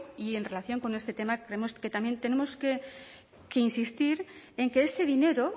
y en relación con este tema creemos que también tenemos que insistir en que ese dinero